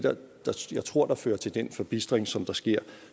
jeg tror der fører til den forbistring som der sker